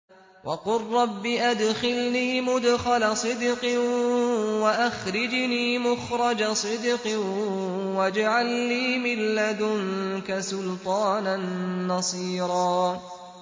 وَقُل رَّبِّ أَدْخِلْنِي مُدْخَلَ صِدْقٍ وَأَخْرِجْنِي مُخْرَجَ صِدْقٍ وَاجْعَل لِّي مِن لَّدُنكَ سُلْطَانًا نَّصِيرًا